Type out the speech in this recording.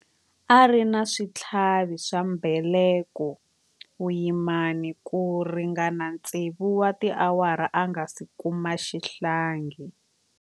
A ri na switlhavi swa mbeleko vuyimani ku ringana tsevu wa tiawara a nga si kuma xihlangi.